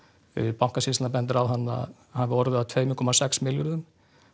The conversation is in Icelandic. Bankasýslan bendir á að þarna hafi orðið af tveimur komma sex milljörðum